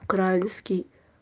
украинский